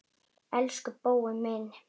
Elsku Bói minn.